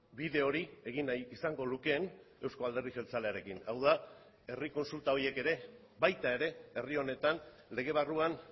bide hori egin nahi izango lukeen euzko alderdi jeltzalearekin hau da herri kontsulta horiek ere baita ere herri honetan lege barruan